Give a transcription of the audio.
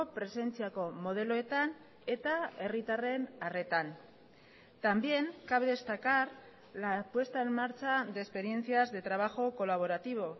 presentziako modeloetan eta herritarren arretan también cabe destacar la puesta en marcha de experiencias de trabajo colaborativo